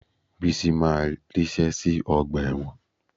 Bísí máa ríṣẹ́ sí ọgbà ẹ̀wọ̀n